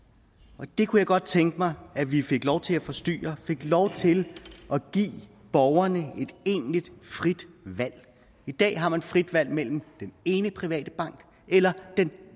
og det kunne jeg godt tænke mig at vi fik lov til at forstyrre at fik lov til at give borgerne et egentligt frit valg i dag har man frit valg mellem den ene private bank eller